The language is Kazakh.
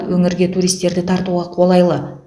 өңірге туристерді тартуға қолайлы